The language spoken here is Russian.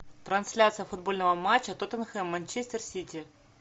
трансляция футбольного матча тоттенхэм манчестер сити